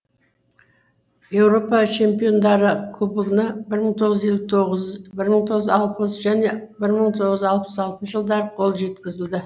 еуропа чемпиондары кубогына бір мың тоғыз жүз елу тоғыз бір мың тоғыз жүз алпыс және бір мың тоғыз жүз алпыс алтыншы жылдары қол жеткізілді